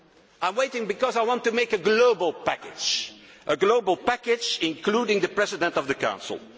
waiting I am waiting because I want a global package, a global package including the President of the